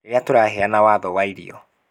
rĩrĩa tũraheana watho wa irio